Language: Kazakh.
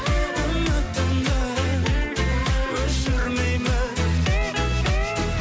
үмітімді өшірмеймін